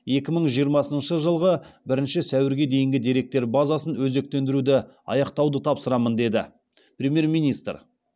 екі мың жиырмасыншы жылғы бірінші сәуірге дейін деректер базасын өзектендіруді аяқтауды тапсырамын деді премьер министр